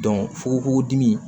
fukonfukon dimi